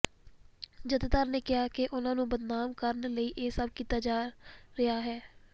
ਜਥੇਦਾਰ ਨੇ ਕਿਹਾ ਕਿ ਉਨ੍ਹਾਂ ਨੂੰ ਬਦਨਾਮ ਕਰਨ ਲਈ ਇਹ ਸਭ ਕੀਤਾ ਜਾ ਰਿਹਾ ਹੈ